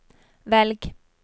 velg